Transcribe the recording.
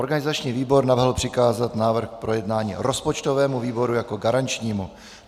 Organizační výbor navrhl přikázat návrh k projednání rozpočtovému výboru jako garančnímu.